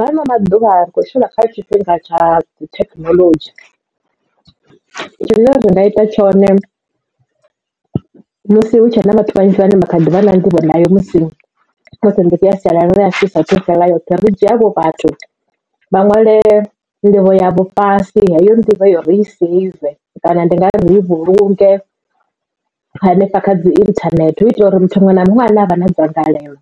Hano maḓuvha ri kho tshila kha tshifhinga tsha thekinoḽodzhi tshine ra nga ita tshone musi hu tshe na vhathu vhanzhi vhane vha kha ḓi vha na nḓivho nayo musi musi ndi ya sialala ya shumu isa thu fhela yoṱhe ri dzhia havho vhathu vha ṅwale nḓivho ya vho fhasi heyo nḓivho heyo ri i save kana ndi ngari ri i vhulunge hanefha kha dzi internet u itela uri muthu muṅwe na muṅwe ane avha na dzangalelo